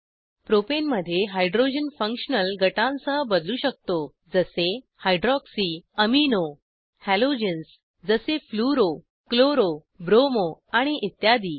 प्रोपेनमध्ये hydrogen functional गटांसह बदलू शकतो जसे हायड्रॉक्सी एमिनो हॅलोजन्स जसे फ्लुरो क्लोरो ब्रोमो आणि इत्यादी